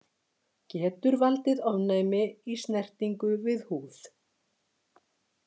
Getur valdið ofnæmi í snertingu við húð.